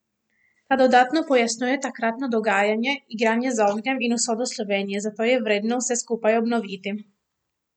Ta dodatno pojasnjuje takratno dogajanje, igranje z ognjem in usodo Slovenije, zato je vredno vse skupaj obnoviti.